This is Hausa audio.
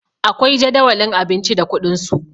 akwai Jadawalin abinci da kuɗinsu